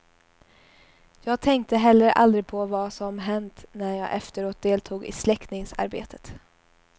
Jag tänkte heller aldrig på vad som hänt när jag efteråt deltog i släckningsarbetet.